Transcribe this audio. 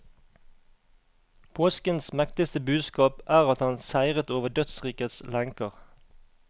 Påskens mektigste budskap er at han seiret over dødsrikets lenker.